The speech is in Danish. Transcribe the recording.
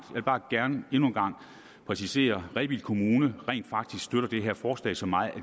vil bare gerne endnu en gang præcisere at rebild kommune rent faktisk støtter det her forslag så meget at